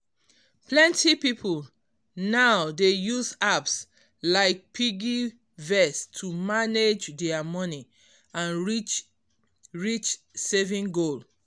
plenty people now dey use apps like piggy vest to manage dia money and reach reach saving goal